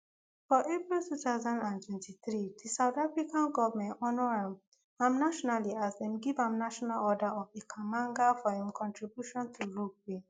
for april two thousand and twenty-three di south african goment honour am am nationally as dem give am national order of ikhamanga for im contributions to rugby